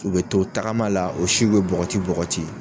U be to tagama la o siw be bɔgɔti bɔgɔti